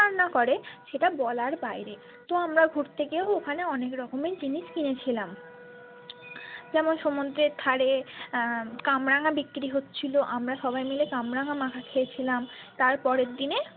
করে সেটা বলার বাইরে তো আমরা ঘুরতে গিয়েও ওখানে অনেকরকমের জিনিস কিনে খেলাম যেমন সমুদ্রের ধারে আহ কামরাঙ্গা বিক্রি হচ্ছিলো আমরা সবাই মিলে কামরাঙ্গা মাখা খেয়েছিলাম তার পরের দিনে।